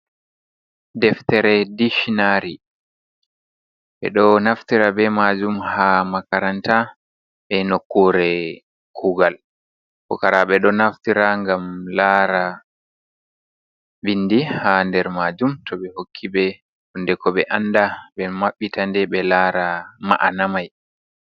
Deftere diccinari ɓe ɗo Naftira be majum ha Makaranta be nokure kugal pukara. Ɓe ɗo naftira ngam lara bindi ha der Majum to be hokkiɓe Hunde ko be anda. Ɓe mabbita nde ɓe lara Ma’ana mai.